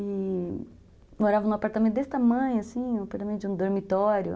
E morava num apartamento desse tamanho, assim, um apartamento de um dormitório.